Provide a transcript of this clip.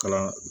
Kalan